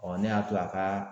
ne y'a to a ka